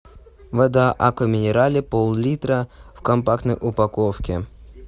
вода аква минерале пол литра в компактной упаковке